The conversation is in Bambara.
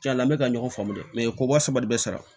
Cɛn na n bɛ ka ɲɔgɔn faamu dɛ ko wa saba de bɛ sara